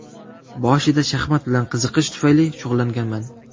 Boshida shaxmat bilan qiziqish tufayli shug‘ullanganman.